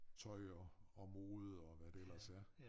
Tøj og og mode og hvad det ellers er